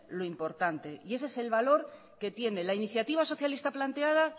lo importante y ese es el valor que tiene la iniciativa socialista planteada